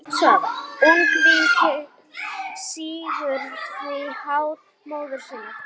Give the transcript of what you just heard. Ungviðið sýgur því hár móður sinnar.